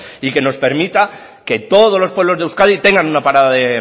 y que nos permita que todos los pueblos de euskadi tenga una parada de